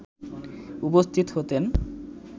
উপস্থিত হতেন